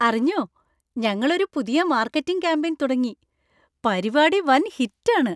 അറിഞ്ഞോ, ഞങ്ങൾ ഒരു പുതിയ മാർക്കറ്റിംഗ് കാമ്പെയ്ൻ തുടങ്ങി; പരിപാടി വൻ ഹിറ്റ് ആണ്.